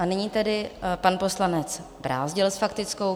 A nyní tedy pan poslanec Brázdil s faktickou.